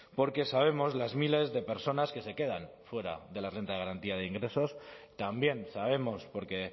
porque sabemos las miles de personas que se quedan fuera de la renta de garantía de ingresos también sabemos porque